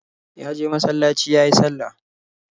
Ya je masalaci yayi sallah.